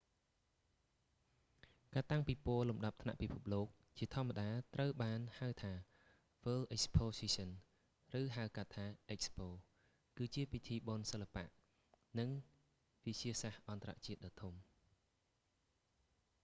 ការតាំងពិព័រណ៍លំដាប់ពិភពលោក ជាធម្មតាត្រូវបានហៅថា world exposition ឬហៅកាត់ថា expo គឺជាពិធីបុណ្យសិល្បៈ និងវិទ្យាសាស្ត្រអន្តរជាតិដ៏ធំ